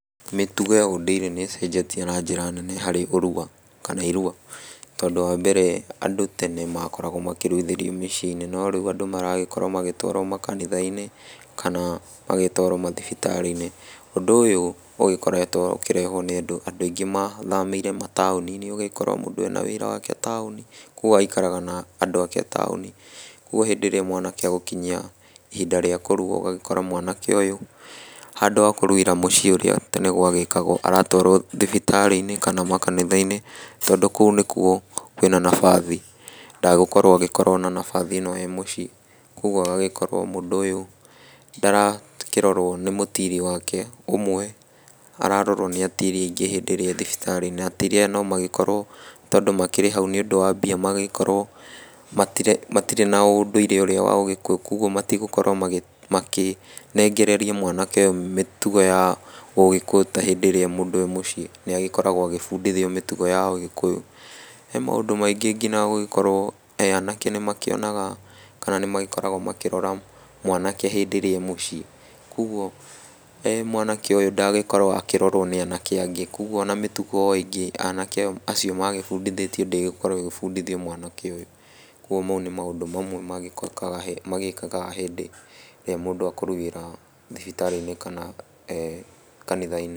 Mĩtugo ya ũndũire nĩ ĩcenjetie na njĩra nene harĩ ũrua kana irua, tondũ wa mbere, andũ makoragwo makĩruithĩrio mĩciĩ-inĩ, no rĩu andũ magĩkorwo magĩtwarwo makanitha-inĩ , kana magatwarwo mathibitarĩ-inĩ , ũndũ ũyũ ũgĩkoretwo ũkĩrehwo nĩ ũndũ andũ aingĩ mathamĩire mataũni-inĩ, ũgakora mũndũ ena wĩra wake taũni, kũgwo agaikaraga na andũ ake taũni, ũgwo hĩndĩ ĩrĩa mwanake egũkinyia ihinda rĩa kũrua ũgagĩkora mwanake ũyũ handũ ha kũruĩra mũciĩ ũrĩa tene gwa gĩkagwo , aratwarwo thibitarĩ-inĩ kana makanitha-inĩ, tondũ kũu nĩkwo kwĩna nabathi , ndagũkorwo ena nabathi ĩno e mũciĩ, kũgwo ĩgakorwo mũndũ ũyũ ndarakĩrorwo nĩ mũtiri wake ũmwe, ararorwo nĩ atiri aingĩ hĩndĩ ĩrĩa e thibitarĩ , na atiri aya no makorwo makĩrĩ hau nĩ ũndũ wa mbia magagĩkorwo matirĩ na ũndũire ũrĩa wa ũgĩkũyũ, kũgwo matigũkorwo makĩnengereria mwanake ũyũ mĩtugo ya ũgĩkũyũ ta hĩndĩ ĩrĩa e mũndũ e mũciĩ nĩ agĩkoragwo agĩbundithio mĩtugo ya ũgĩkũyũ , he maũndũ maingĩ nginya gũgĩkorwo anake nĩ makĩonaga , kana nĩ magĩkoragwo makĩrora mwanake hĩndĩ ĩrĩa e mũciĩ, kũgwo mwanake ũyũ ndangĩkorwo akĩrorwo nĩ anake angĩ, kũgwo ona mĩtugo ĩngĩ anake acio magĩbundithĩtio ndĩgũkorwo ĩgĩbundithitio mwanake ũyũ , kũgwo mau nĩ maũndũ mamwe magĩĩkaga hĩndĩ ĩrĩa mũndũ akũruĩra thibitarĩ-inĩ kana kanitha-inĩ.